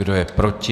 Kdo je proti?